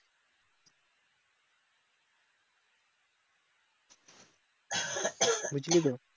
বুঝলি তো?